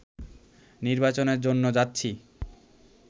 নির্বাচনের জন্য যাচ্ছি